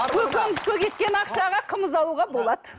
көкөніске кеткен ақшаға қымыз алуға болады